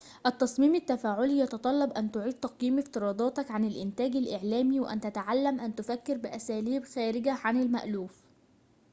التصميم التفاعلي يتطلب أن تعيد تقييم افتراضاتك عن الإنتاج الإعلامي وأن تتعلم أن تفكر بأساليب خارجة عن المألوف